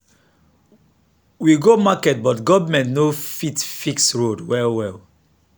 we go market but government no fit fix road well well.